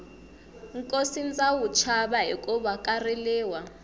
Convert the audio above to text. nkosi ndza wu chava hikuva ka riliwa